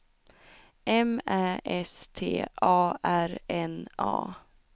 M Ä S T A R N A